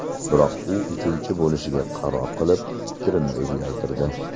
Biroq u uchuvchi bo‘lishga qaror qilib, fikrini o‘zgartirdi.